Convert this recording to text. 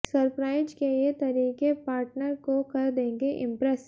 surprise के ये तरीके पार्टनर को कर देंगे इम्प्रेस